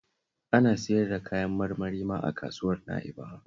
Ana siyar da kayan marmari ma a Kasuwar Na'bawa